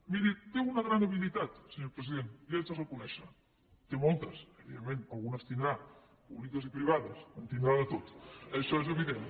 miri té una gran habilitat senyor president li ho haig de reconèixer en té moltes evidentment algunes en deu tenir públiques i privades en deu tenir de tot això és evident